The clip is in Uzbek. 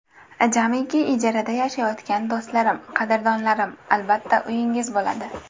Jamiki ijarada yashayotgan do‘stlarim, qadrdonlarim, albatta, uyingiz bo‘ladi.